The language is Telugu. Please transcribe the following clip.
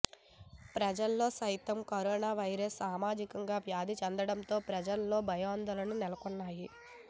పల్లెల్లో సైతం కరోనా వైరస్ సామాజికంగా వ్యాప్తి చెందటంతో ప్రజల్లో భయాందోళనలు నెలకొన్నాయి